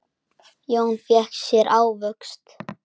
Jón fékk sér ávöxt.